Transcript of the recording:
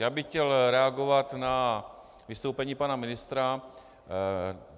Já bych chtěl reagovat na vystoupení pana ministra.